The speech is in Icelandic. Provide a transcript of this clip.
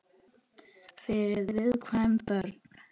Fyrir viðkvæm börn.